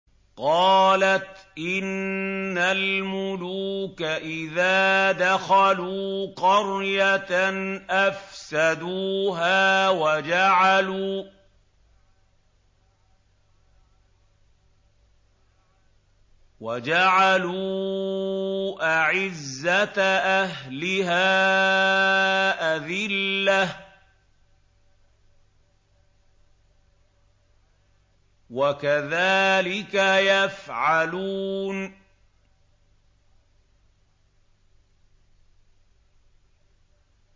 قَالَتْ إِنَّ الْمُلُوكَ إِذَا دَخَلُوا قَرْيَةً أَفْسَدُوهَا وَجَعَلُوا أَعِزَّةَ أَهْلِهَا أَذِلَّةً ۖ وَكَذَٰلِكَ يَفْعَلُونَ